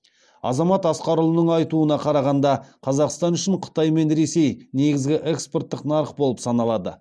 азамат асқарұлының айтуына қарағанда қазақстан үшін қытай мен ресей негізгі экспорттық нарық болып саналады